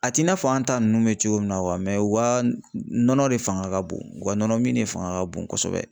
A t'i n'a fɔ an ta nunnu bɛ cogo min na u ka nɔnɔ de fanga ka bon u ka nɔnɔ min de fanga ka bon kosɛbɛ.